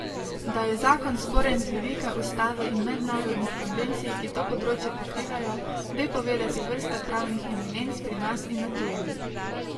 Da je zakon sporen z vidika ustave in mednarodnih konvencij, ki to področje pokrivajo, ve povedati vrsta pravnih eminenc pri nas in na tujem.